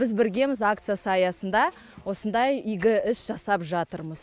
біз біргеміз акциясы аясында осындай игі іс жасап жатырмыз